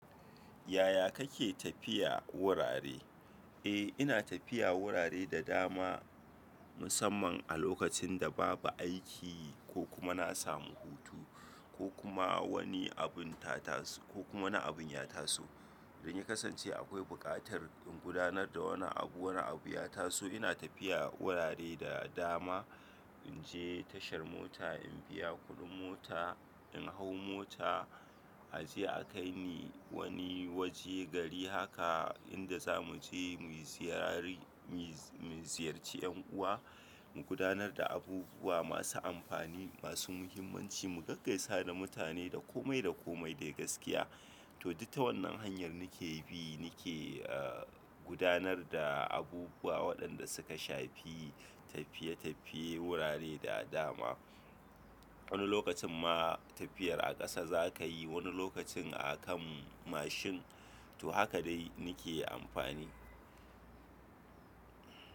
Yaya kake tafiya wurare? Eh ina tafiya wurare da dama musamman a lokacin da babu aiki ko kuma na samu hutu ko kuma wani abun ya taso. Idan ya kasance akwai bukatar in gudanar da wani abu, wani abu ya taso ina tafiya wurare da dama. In je tashar mota in biya kuɗin mota, in hau mota a je a kai ni wani waje gari haka inda za mu je muyi ziyari mu ziyarci ƴan uwa, mu gudanar da abubuwa masu amfani, masu muhimmanci, mu gaggaisa da mutane da komai da komai dai gaskiya. To duk ta wannan hanyar nake bi nake gudanar da abubuwa waɗanda suka shafi tafiye tafiye wurare da dama. Wani lokacin ma tafiyar a ƙasa zakayi, wani lokacin a kan mashin to haka dai nake amfani.